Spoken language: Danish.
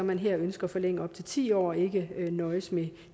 man her ønsker at forlænge op til ti år og ikke nøjes med